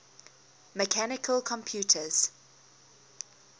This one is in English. mechanical computers